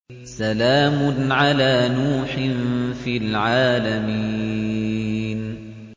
سَلَامٌ عَلَىٰ نُوحٍ فِي الْعَالَمِينَ